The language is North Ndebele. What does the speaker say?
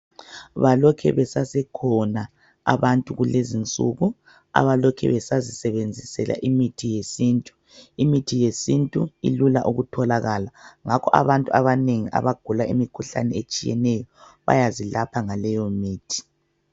Balokhe besekhona abantu kulezinsuku abalokhe besazisebenzisela imithi yesintu imithi yesintu ilula ukutholakala ngakho abantu abanengi abagula imkhuhlane etshiyeneyo bayazilapha ngaleyo mithi